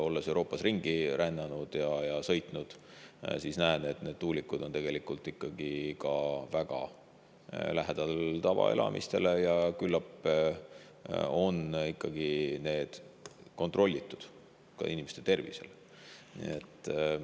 Olles Euroopas ringi rännanud ja sõitnud, ma olen näinud, et need tuulikud on tegelikult ikkagi väga lähedal tavaelamistele, ja küllap on ikkagi kontrollitud ka inimeste tervisele.